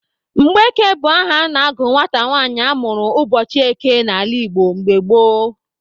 Mgbeke bụ aha a na-agụ nwata nwanyị a mụrụ ụbọchị eke n'ala Igbo mgbe gboo.